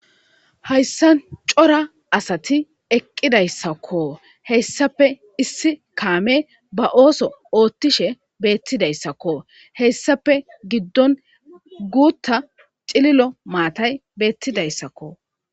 hayssan cora asati eqqidayssakko heyssafe issi kaame ba ooso oothtishe beettidayssakko heyssape giddon guutta cililo maatay beettidayssakko